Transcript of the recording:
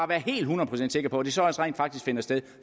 være helt hundrede procent sikker på at det så også rent faktisk finder sted